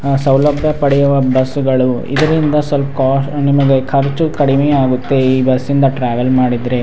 ಆ ಸೌಲಭ್ಯ ಪಡೆಯುವ ಬಸ್ಸುಗಳು ಇದರಿಂದ ಸ್ವಲ್ಪ ನಿಮಗೆ ಖರ್ಚು ಕಡಿಮೆ ಆಗಿತ್ತೆ ಈ ಬಸ್ಸಿಂದ ಟ್ರ್ಯಾವೆಲ್ ಮಾಡಿದ್ರೆ.